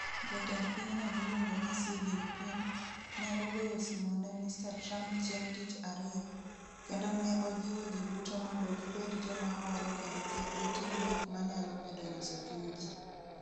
Jatend pinyno miluongo ni Xi Jinping, ne ogoyo simo ne Mr. Trump chieng ' Tich Ariyo, kendo ne ojiwo ji duto "mondo gibed joma hore kendo kik gitim gik ma nyalo medo nyoso chuny ji".